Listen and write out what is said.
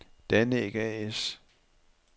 Danæg A/S